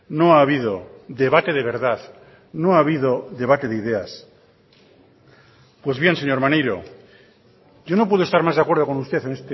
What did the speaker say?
no ha habido debate de verdad no ha habido debate de ideas pues bien señor maneiro yo no puedo estar más de acuerdo con usted en